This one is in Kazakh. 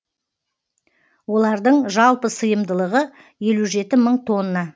олардың жалпы сыйымдылығы елу жеті мың тонна